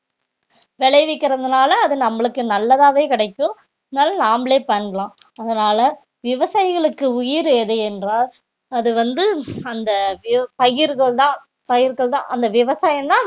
விளைவிக்கிறதுனால அது நம்மளுக்கு நல்லதாவே கிடைக்கும் இருந்தாலும் நாமளே பண்ணலாம் அதனால விவசாயிகளுக்கு உயிர் எது என்றால் அது வந்து அந்த வி~ பயிர்கள்தான் பயிர்கள்தான் அந்த விவசாயம்தான்